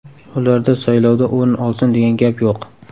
Ularda saylovda o‘rin olsin degan gap yo‘q.